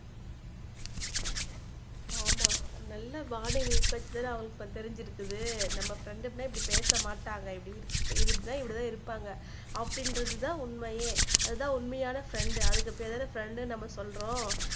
ஆமா நல்ல அவங்களுக்கு அது தெரிஞ்சிருக்குது நம்ம ப்ரெண்டுமே இப்படி பேச மாட்டாங்க இப்படின்னா இப்படித்தான் இருப்பாங்க அப்படிங்குறது தான் உண்மையே அதுக்கு பேரு தான் நம்ம ஃப்ரெண்ட் அதுக்கு பெயரு ஃப்ரெண்ட் என்று சொல்றோம்